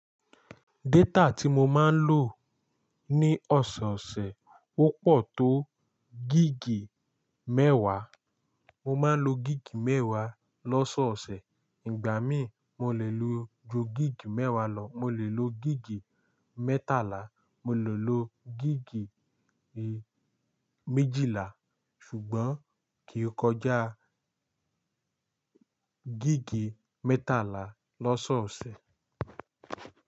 Data tí mo máa ń lò ní ọ̀sọ̀ọ̀sẹ̀ ó pọ̀ tó gigì mẹ́wàá. Mo máa ń lo gigì mẹ́wàá lọ́sọ̀ọ̀sẹ̀. Ìgbà míì, mo lè lo ju gigì mẹ́wàá lọ, mo lè lo gigì mẹ́tàlá, mo lè lo gigì méjìlá, ṣùgbọ́n kì í kọjá gigì mẹ́tàlá lọ́sọ̀ọ̀sẹ̀.